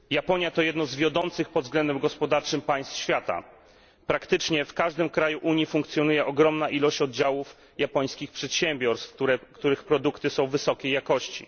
Pani Przewodnicząca! Japonia to jedno z wiodących pod względem gospodarczym państw świata. Praktycznie w każdym kraju Unii funkcjonuje ogromna ilość oddziałów japońskich przedsiębiorstw, których produkty są wysokiej jakości.